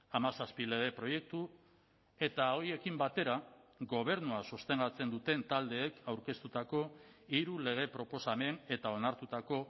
hamazazpi lege proiektu eta horiekin batera gobernua sostengatzen duten taldeek aurkeztutako hiru lege proposamen eta onartutako